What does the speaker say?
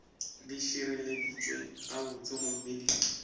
di šireleditšwe gabotse gomme di